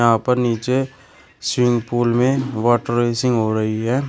यहां पर नीचे स्विमिंग पूल में वाटर रेसिंग हो रही है।